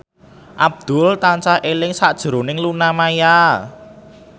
Abdul tansah eling sakjroning Luna Maya